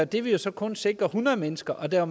det ville så kun sikre hundrede mennesker og der er